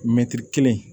Mɛtiri kelen